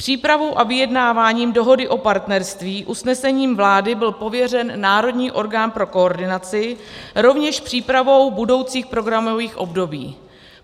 Přípravou a vyjednávání Dohody o partnerství usnesením vlády byl pověřen národní orgán pro koordinaci, rovněž přípravou budoucích programových období.